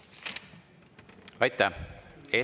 Aitäh!